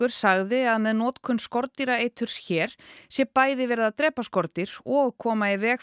sagði að með notkun skordýraeiturs hér sé bæði verið að drepa skordýr og koma í veg